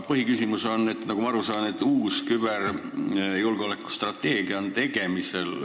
Põhiküsimus on aga see, et nagu ma aru saan, on tegemisel uus küberjulgeoleku strateegia.